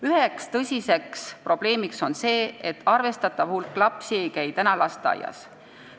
Üks tõsine probleem on see, et arvestatav hulk lapsi ei käi lasteaias.